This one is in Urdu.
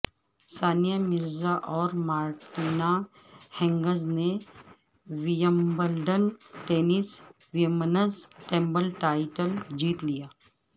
ثانیہ مرزااورمارٹینا ہنگزنے Wimbledon tennis women's double title جیت لیا